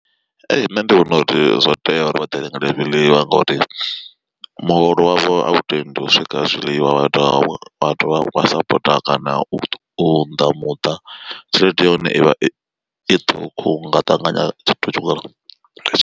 Ee nṋe ndi vhona uri zwo tea uri vha ḓi rengele zwiḽiwa ngori muholo wavho a u tendi u swika zwiḽiwa wa dovha wa dovha wa sapota kana u unḓa muṱa tshelede ya hone ivha i ṱhukhu nga ṱanganya tshithu.